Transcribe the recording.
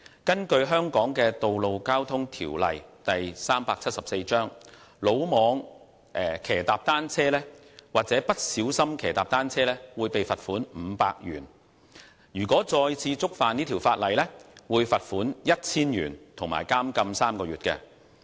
根據香港的《道路交通條例》，魯莽騎踏單車或不小心騎踏單車會被罰款500元，再次觸犯會被罰款 1,000 元及監禁3個月。